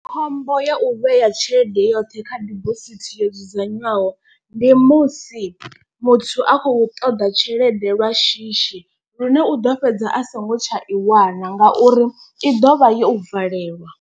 Khombo ya u vhea tshelede yoṱhe kha dibosithi yo dzudzanywaho. Ndi musi muthu a khou ṱoḓa tshelede lwa shishi lune u ḓo fhedza a songo tsha i wana ngauri i ḓovha yo valelwa.